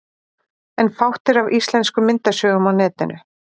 En fátt er af íslenskum myndasögum á netinu.